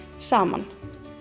saman